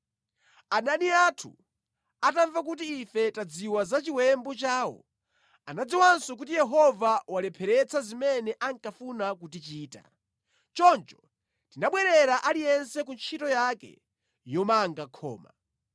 Adani athu atamva kuti ife tadziwa za chiwembu chawo, anadziwanso kuti Yehova walepheretsa zimene ankafuna kutichita. Choncho tinabwerera aliyense ku ntchito yake yomanga khoma.